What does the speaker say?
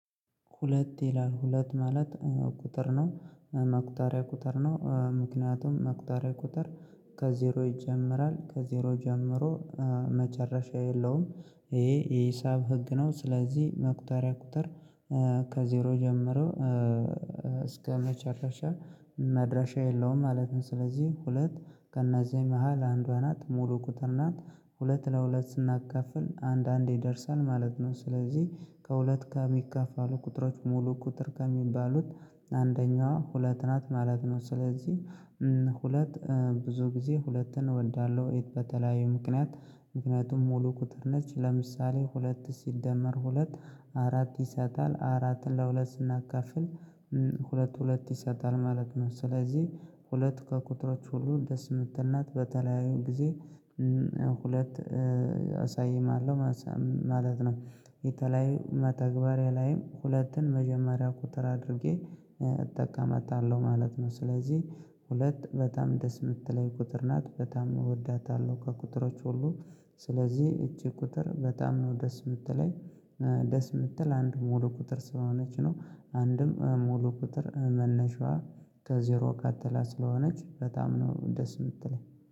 ሁለት ይላል ሁለት ማለት። ቁጥር ነው መቁጠሪያ ቁጥር ነው ምክንያቱም መቁጠሪያ ቁጥር ከዜሮ ይጀምራል ከዜሮ ጀምሮ መጨረሻ የለውም። ይሄ የሂሳብ ህግ ነው ስለዚህ መቁጠሪያ ቁጥር ከዜሮ ጀምሮ እስከመጨረሻ መድረሻ የለውም። ማለትም ስለዚህ ሁለት ከነዚህ መሃል አንዷ ናት ሙሉ ቁጥር ናት። ሁለት ለሁለት ስናካፍል አንድ አንድ ይደርሳል ማለት ነው። ስለዚህ ከሁለት ጋር የሚከፋሉ ቁጥሮች ሙሉ ቁጥር ከሚባሉት አንደኛዋ ሁለት ናት ማለት ነው። ስለዚህ ሁለት ብዙ ጊዜ ሁለትን እወዳለሁ። የት በተለያዩ ምክንያት ምክንያቱም ሙሉ ቁጥር ነች ለምሳሌ ሁለት ሲደመር ሁለት አራት ይሰጣል አራት ለሁለት ስናካፍል ሁለት ሁለት ይሰጣል ማለት ነው። ስለዚህ ሁለት ከቁጥሮች ሁሉ ደስ የምትል ናት በተለያዩ ጊዜ ሁለት አሳይም አለው ማለት ነው። የተለያዩ መተግበሪያ ላይም ሁለትን መጀመሪያ ቁጥር አድርጌ እጠቃመጣለሁ ማለት ነው። ስለዚህ ሁለት በጣም ደስ የምትለኝ ቁጥር ናት በጣም እወዳታለሁ። ከቁጥሮች ሁሉ ስለዚህ እቺ ቁጥር በጣም ነው ደስ የምትለኝ ደስ የምትል አንድ ሙሉ ቁጥር ስለሆነች ነው። አንድም ሙሉ ቁጥር መነሻዋ ከዜሮ ቀጥላ ስለሆነች በጣም ነው ደስ የምትለኝ